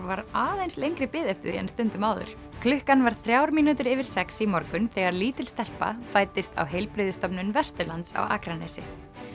var aðeins lengri bið eftir því en stundum áður klukkan var þrjár mínútur yfir sex í morgun þegar lítil stelpa fæddist á Heilbrigðisstofnun Vesturlands á Akranesi